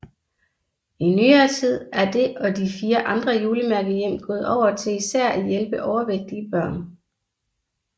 I nyere tid er det og de fire andre julemærkehjem gået over til især at hjælpe overvægtige børn